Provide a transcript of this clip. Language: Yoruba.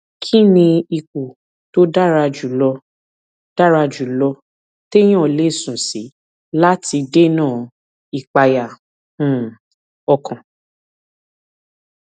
kí ni ipò tó dára jù lọ dára jù lọ téèyàn lè sùn sí láti dènà ìpayà um ọkàn